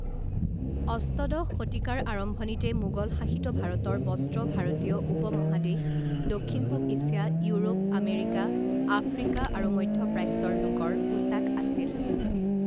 অষ্টদশ শতিকাৰ আৰম্ভণিতে মোগলশাসিত ভাৰতৰ বস্ত্ৰ ভাৰতীয় উপমহাদেশ দক্ষিণ পূব এছিয়া ইউৰোপ আমেৰিকা আফ্ৰিকা আৰু মধ্য প্ৰাচ্যৰ লোকৰ পোছাক আছিল।